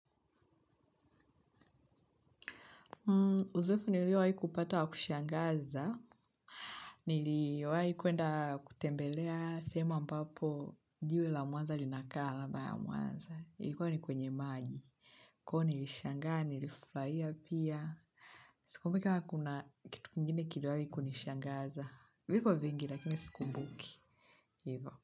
Uzoefu niliowai kupata wa kushangaza, niliwai kuenda kutembelea sehemu ambapo jiwe la mwanza linakaa alamaya mwanza, ilikuwa ni kwenye maji, kwa hivyo nilishangaa, nilifurahia pia, sikumbuki kamakuna kitu kingine kiliwahi kunishangaza, vipo vingi lakini sikumbuki.